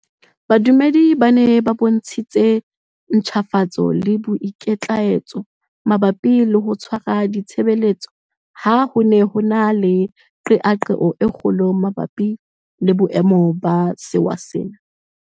Badumedi ba bontshitse ntjhafatso le boikitlaetso mabapi le ho tshwara di tshebeletso ha ho ne ho na le qeaqeo e kgolo mabapi le boemo ba sewa sena.